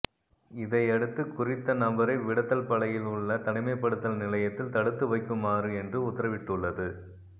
இதையடுத்து குறித்த நபரை விடத்தல்பளையில் உள்ள தனிமைப்படுத்தல் நிலையத்தில் தடுத்து வைக்குமாறு மன்று உத்தரவிட்டுள்ளது